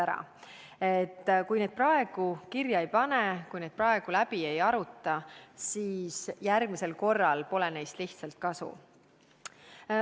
Kui neid õppetunde praegu kirja ei panda ja praegu läbi ei arutata, siis järgmisel korral pole neist lihtsalt kasu.